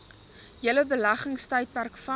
hele beleggingstydperk vas